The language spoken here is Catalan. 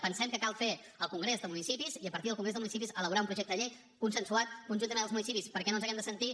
pensem que cal fer el congrés de municipis i a partir del congrés de municipis elaborar un projecte de llei consensuat conjuntament amb els municipis perquè no ens hàgim de sentir